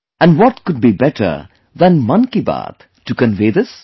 And what could be better than 'Mann Ki Baat' to convey this